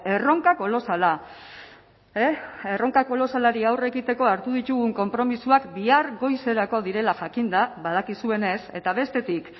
erronka kolosala erronka kolosalari aurre egiteko hartu ditugun konpromisoak bihar goizerako direla jakinda badakizuenez eta bestetik